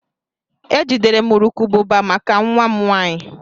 E jidere m urukurubụba maka nwa m nwanyị.